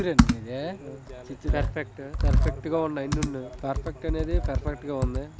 పర్ఫెక్ట్ప గా ఉన్నాయి పర్ఫెక్ట్ అనేది పర్ఫెక్ట్ గా ఉంది .